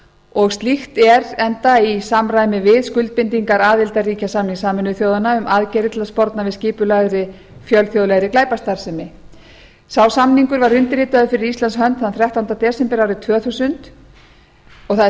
og slíkt er enda í samræmi við skuldbindingar aðildarríkjasamnings sameinuðu þjóðanna um aðgerðir til að sporna við skipulagðri fjölþjóðlegri glæpastarfsemi sá samningur var undirritaður fyrir íslands hönd þann þrettánda desember árið tvö þúsund og það er